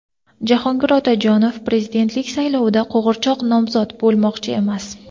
Jahongir Otajonov prezidentlik saylovlarida "qo‘g‘irchoq nomzod" bo‘lmoqchi emas.